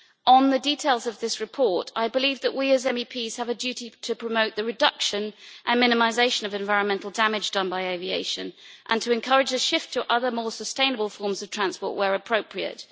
On the details of this report, I believe that we as MEPs have a duty to promote the reduction and minimisation of environmental damage done by aviation and to encourage a shift to other, more sustainable forms of transport where appropriate.